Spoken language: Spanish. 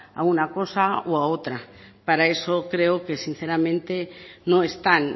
a una cosa u a otra para eso creo que sinceramente no están